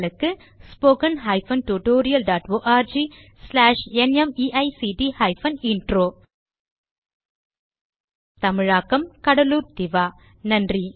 spoken hyphen tutorial dot org slash NMEICT hyphen intro தமிழாக்கம் கடலூர் திவா நன்றி